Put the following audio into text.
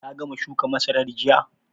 Ka gama shuka masarar jiya?